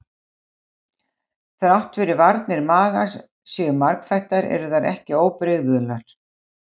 Þrátt fyrir að varnir magans séu margþættar eru þær ekki óbrigðular.